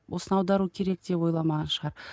осыны аудару керек деп ойламаған шығар